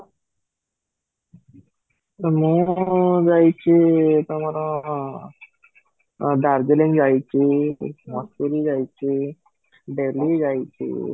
ମୁଁ ଯାଇଛି ତମର ଦାର୍ଜିଲିଂ ଯାଇଛି ଯାଇଛି ଦିଲ୍ଲୀ ଯାଇଛି